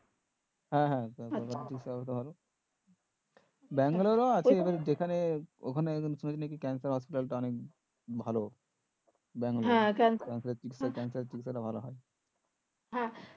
হ্যাঁ হ্যাঁ ব্যাঙ্গালোরে আছে যেখানে ওখানে শুনেছি নাকি ক্যান্সার হস্পিতালটা অনেক ভালো ক্যান্সার চিকিৎসা টা অনেক ভালো হয়